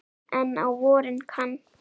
En á vorin kann